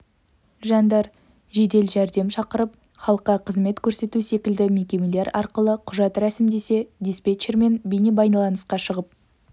жандар жедел жәрдем шақырып халыққа қызмет көрсету секілді мекемелер арқылы құжат рәсімдесе диспетчермен бейнебайланысқа шығып